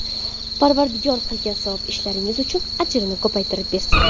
Parvardigor qilgan savob ishlaringiz uchun ajrni ko‘paytirib bersin!